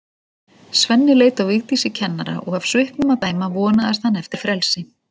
Svenni leit á Vigdísi kennara og af svipnum að dæma vonaðist hann eftir frelsi.